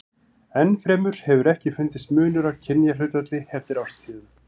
Enn fremur hefur ekki fundist munur á kynjahlutfalli eftir árstíðum.